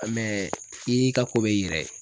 i y'i ka ko b'i yɛrɛ ye.